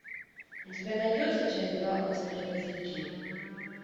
у тебя найдется часть два острые козырьки